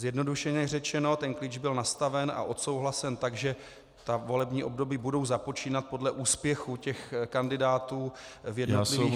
Zjednodušeně řečeno, ten klíč byl nastaven a odsouhlasen tak, že ta volební období budou započínat podle úspěchu těch kandidátů v jednotlivých -